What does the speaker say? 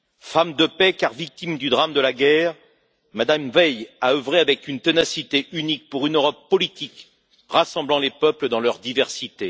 Femme de paix, car victime du drame de la guerre, Mme Veil a œuvré avec une ténacité unique pour une Europe politique rassemblant les peuples dans leur diversité.